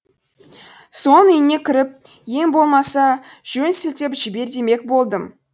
соң үйіне кіріп ең болмаса жөн сілтеп жібер демек болдым